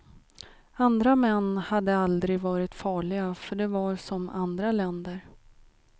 Andra män hade aldrig varit farliga, för de var som andra länder.